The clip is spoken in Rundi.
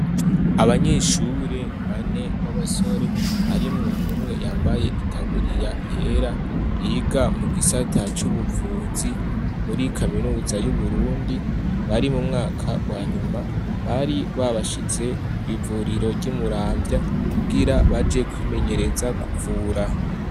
Abanyeshure bane b'abasore harimwo umwe yambaye itaburiya yera biga mu gisata c'ubuvuzi muri Kaminuza y'Uburundi, bari mu mwaka wa nyuma, bari babashize kw' ivuriro ry'i Muramvya kugira baje kwimenyereza kuvura.